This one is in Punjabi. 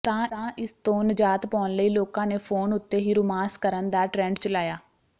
ਤਾਂ ਇਸਤੋਂ ਨਜਾਤ ਪਾਉਣ ਲਈ ਲੋਕਾਂ ਨੇ ਫੋਨ ਉੱਤੇ ਹੀ ਰੁਮਾਂਸ ਕਰਣ ਦਾ ਟ੍ਰੇਂਡ ਚਲਾਇਆ